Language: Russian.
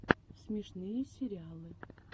смешные сериалы